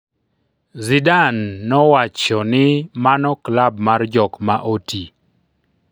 Zidane nowacho ni mano klab mar jok ma oti.